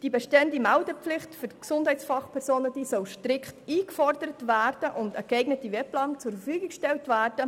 Die bestehende Meldepflicht für Gesundheitsfachpersonen soll strikt eingefordert und ein entsprechendes Instrument zur Verfügung gestellt werden.